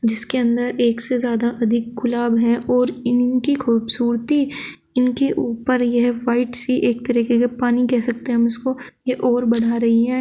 इसके अंदर एक से ज्यादा अधिक गुलाब हैं और इनकी खूबसूरती इनके ऊपर यह वाइट सी एक तरीके के पानी कह सकते हैं हम इसको ये और बढ़ा रही है।